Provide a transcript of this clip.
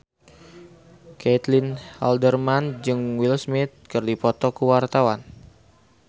Caitlin Halderman jeung Will Smith keur dipoto ku wartawan